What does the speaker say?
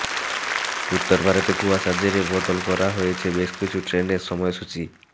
উত্তরভারতে কুয়াশার জেরে বদল করা হয়েছে বেশ কিছু ট্রেনের সময়সূচি